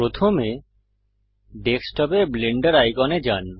প্রথমে ডেস্কটপে ব্লেন্ডার আইকনে যান